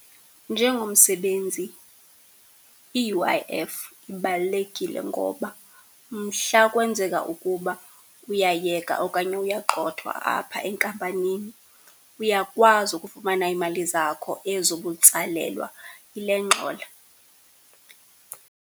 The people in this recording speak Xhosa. Njengomsebenzi i-U_I_F ibalulekile ngoba mhla kwenzeka ukuba uyayeka okanye uyagxothwa apha enkampanini, uyakwazi ukufumana iimali zakho, ezo ubutsalelwa yile ngxola.